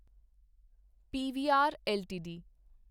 PVR LTD